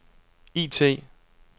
IT